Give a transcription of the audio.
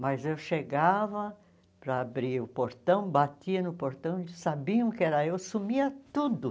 Mas eu chegava para abrir o portão, batia no portão, eles sabiam que era eu, sumia tudo.